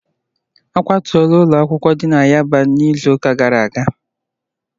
A kwatuola ụlọ nzukọ dị na mahadum yaba n'izuụka gara aga